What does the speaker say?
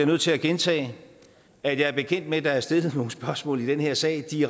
nødt til at gentage at jeg er bekendt med at der er blevet stillet nogle spørgsmål i den her sag og de